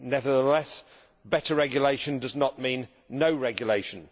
Nevertheless, better regulation does not mean no regulation.